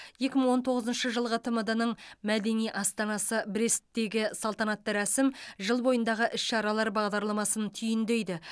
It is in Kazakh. екі мың он тоғызыншы жылғы тмд ның мәдени астанасы бресттегі салтанатты рәсім жыл бойындағы іс шаралар бағдарламасын түйіндейді